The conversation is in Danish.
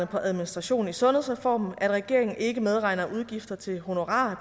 på administration i sundhedsreformen at regeringen ikke medregner udgifter til honorarer